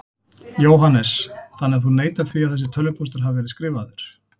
Jóhannes: Þannig að þú neitar því að þessi tölvupóstur hafi verið skrifaður?